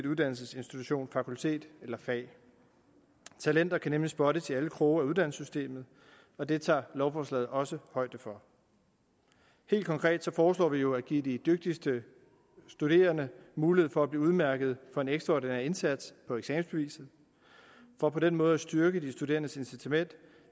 uddannelsesinstitution fakultet eller fag talenter kan nemlig spottes i alle kroge af uddannelsessystemet og det tager lovforslaget også højde for helt konkret foreslår vi jo at give de dygtigste studerende mulighed for at blive udmærket for en ekstraordinær indsats på eksamensbeviset for på den måde at styrke de studerendes incitament